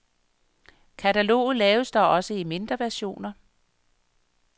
Kataloget laves dog også i mindre versioner.